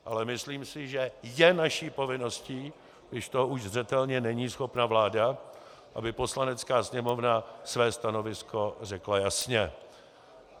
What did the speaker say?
Ale myslím si, že je naší povinností, když toho už zřetelně není schopna vláda, aby Poslanecká sněmovna své stanovisko řekla jasně.